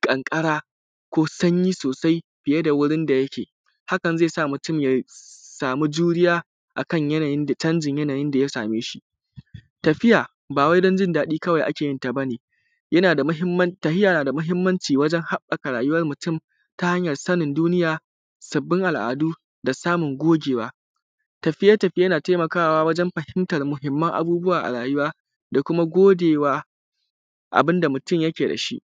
ƙanƙara da sanyi sosai fiye da wurin da yake, hakan zai sa mutun ya samu juriya da canjin yanayin da yasameshi. Tafiya bawai dan jin daɗi kawai akeyin ta ane yanada mahimmanci tafiya nada mahimmanci wajen haɓɓaka rayuwan mutum ta hanyan sanin duniya sabbin al’adu da kuma samun gogewa. Tafiye tafiye na taimakawa wajen fahimtan mahimman abubuwa a rayuwa da kuma godewa abunda mutum yake dashi.